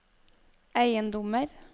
eiendommer